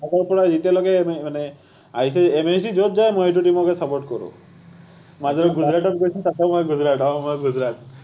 আগৰ পৰা যেতিয়ালৈকে মানে আহিছে MSD যত যায় মই সেইটো team কে support কৰো, মাজত গুজৰাটত গৈছে তাতো মই গুজৰাট অ মই গুজৰাট